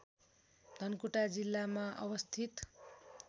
धनकुटा जिल्लामा अवस्थित